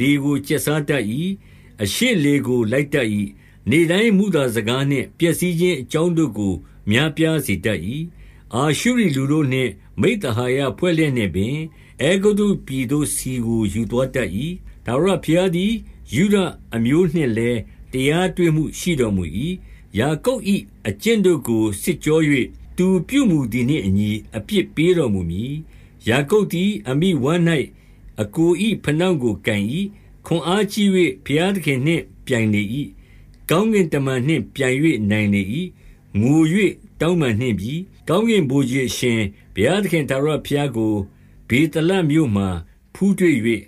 လေကို ကျက်စားတတ်၏။ အရှေ့ လေကို လိုက်တတ်၏။ နေ့တိုင်းမုသာစကားနှင့် ပျက်စီး ခြင်းအကြောင်းတို့ကို များပြားစေတတ်၏။ အာရှုရိလူတို့ နှင့် မိဿဟာယဖွဲ့လျက်နှင့်ပင်၊ အဲဂုတ္တုပြည်သို့ ဆီကို ယူသွားတတ်၏။ 2 ထာဝရဘုရားသည် ယုဒအမျိုးနှင့်လည်း တရား တွေ့မှုရှိတော်မူ၏။ ယာကုပ်၏အကျင့်တို့ကို စစ်ကြော၍ သူပြုမူသည်နှင့်အညီ အပြစ်ပေးတော်မူမည်။ 3 ယာကုပ်သည် အမိဝမ်း၌ အစ်ကို၏ ဖနှောင့်ကို ကိုင်၏။ ခွန်အားကြီး၍ ဘုရားသခင်နှင့် ပြိုင်လေ၏။ 4 ကောင်းကင်တမန်နှင့်ပြိုင်၍ နိုင်လေ၏။ ငို၍ တောင်းပန်နှင့်ပြီ။ ကောင်းကင်ဗိုလ်ခြေအရှင်ဘုရား သခင်ထာဝရဘုရားကို ဗေသလမြို့မှာ ဖူးတွေ့၍၊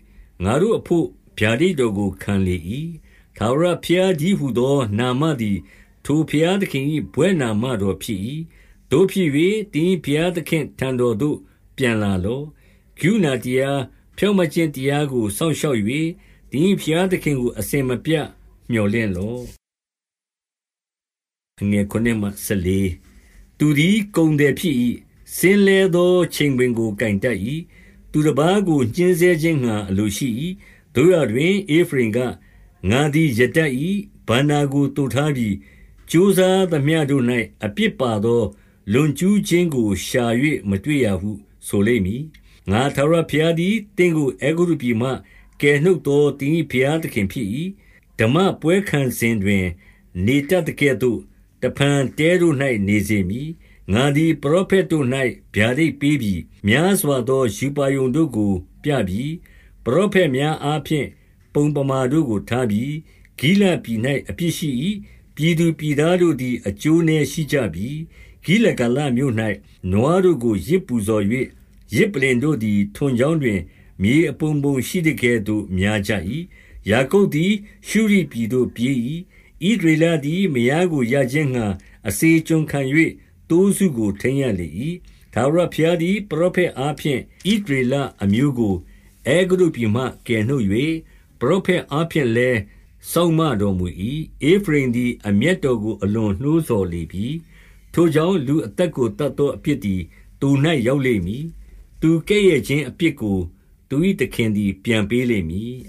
ငါတို့ အဘို့ ဗျာဒိတ်တော်ကို ခံလေ၏။ 5 ထာဝရဘုရားတည်းဟူသော နာမသည် ထိုဘုရားသခင်၏ ဘွဲ့နာမတော်ဖြစ်၏။ 6 သို့ဖြစ်၍၊ သင်၏ဘုရားသခင့်ထံတော်သို့ ပြန်လာလော့။ ကရုဏာတရား၊ ဖြောင့်မတ်ခြင်းတရားကို စောင့်ရှောက်၍၊ သင်၏ဘုရားသခင်ကို အစဉ်မပြတ် မြော်လင့်လော့။ 7 သူသည် ကုန်သည်ဖြစ်၏။ စဉ်းလဲသော ချိန်ခွင် ကို ကိုင်တတ်၏။ သူတပါးကို ညှဉ်းဆဲခြင်းငှါ အလိုရှိ၏။ 8 သို့ရာတွင်၊ ဧဖရိမ်က၊ ငါသည် ရတတ်၏။ ဘဏ္ဍာကို သိုထားပြီ။ ကြိုးစားသမျှတို့၌ အပြစ်ပါသော လွန်ကျူးခြင်းကို ရှာ၍ မတွေ့ရာဟု ဆိုလိမ့်မည်။ 9 ငါထာဝရဘုရားသည် သင့်ကို အဲဂုတ္တုပြည်မှ ကယ်နှုတ်သော သင်၏ဘုရားသခင်ဖြစ်၏။ ဓမ္မပွဲခံစဉ် တွင် နေတတ်သကဲ့သို့ တဖန်တဲတို့၌ နေစေမည်။ 10 ငါသည် ပရောဖက်တို့၌ ဗျာဒိတ်ပေးပြီ။ များစွာ သော ရူပါရုံတို့ကို ပြပြီ။ ပရောဖက်များအားဖြင့် ပုံပမာ တို့ကို ထားပြီ။ 11 ဂိလဒ်ပြည်၌ အပြစ်ရှိ၏။ ပြည်သူပြည်သားတို့ သည် အကျိုးနည်းရှိကြပြီ။ ဂိလဂါလမြို့၌ နွားတို့ကို ယဇ် ပူဇော်၍၊ ယဇ်ပလ္လင်တို့သည် ထွန်ကြောင်းတွင် မြေအပုံပုံ ရှိသကဲ့သို့ များကြ၏။ 12 ယာကုပ်သည် ရှုရိပြည်သို့ ပြေး၏။ ဣသရေလ သည် မယားကိုရခြင်းငှါ အစေကျွန်ခံ၍ သိုးစုကို ထိန်း ရလေ၏။ 13 ထာဝရဘုရားသည် ပရောဖက်အားဖြင့် ဣသရေလအမျိုးကို အဲဂုတ္တုပြည်မှ ကယ်နှုတ်၍၊ ပရောဖက် အားဖြင့်လည်း စောင့်မတော်မူ၏။ 14 ဧဖရိမ်သည် အမျက်တော်ကို အလွန်နှိုးဆော် လေပြီ။ ထိုကြောင့်၊ လူအသက်ကို သတ်သော အပြစ် သည် သူ၌ ရောက်လိမ့်မည်။ သူကဲ့ရဲ့ခြင်း အပြစ်ကို သူ၏သခင်သည် ပြန်ပေးလိမ့်မည်။